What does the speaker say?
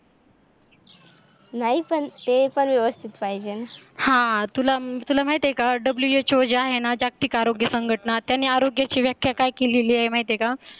नाही पण ते पण व्यवस्थित पाहिजे ना, हा तुला माहित आहे का WHO जे आहे ना जागतिक आरोग्य संघटना त्यांनी आरोग्याची व्याख्या काय केलेली आहे माहिती आहे का?